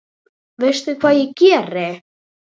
Veistu hvað ég geri?